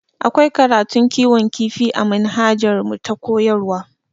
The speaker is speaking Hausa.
Akwai karatun kiwon kifi a manhajarmu ta koyarwa